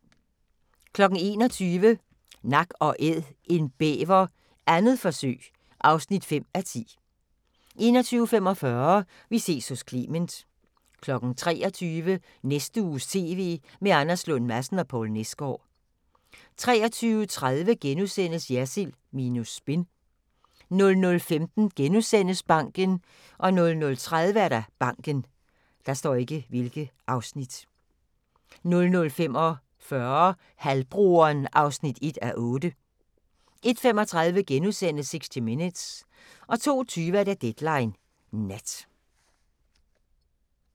21:00: Nak & Æd – en bæver, 2. forsøg (5:10) 21:45: Vi ses hos Clement 23:00: Næste uges TV med Anders Lund Madsen og Poul Nesgaard 23:30: Jersild minus spin * 00:15: Banken * 00:30: Banken 00:45: Halvbroderen (1:8) 01:35: 60 Minutes * 02:20: Deadline Nat